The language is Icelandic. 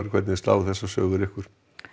hvernig slá þessar sögur ykkur